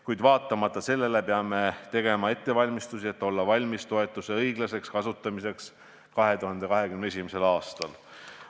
Kuid sellest hoolimata peame tegema ettevalmistusi, et olla valmis toetuse õiglaseks kasutamiseks 2021. aastal.